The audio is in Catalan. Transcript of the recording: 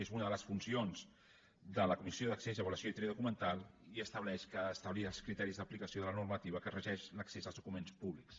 és una de les funcions de la comissió d’accés avaluació i tria documental i estableix establir els criteris d’aplicació de la normativa que regeix l’accés als documents públics